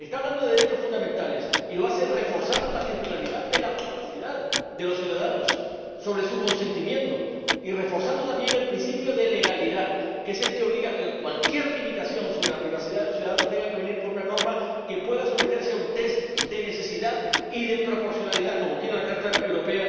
Está hablando de derechos fundamentales y lo hace reforzando la privacidad de los ciudadanos sobre la base de su consentimiento, y reforzando también el principio de legalidad, que es el que obliga a que cualquier limitación sobre la privacidad de los ciudadanos tenga que ser establecida por una norma que pueda someterse a un test de necesidad y de proporcionalidad, como quiere la Carta de los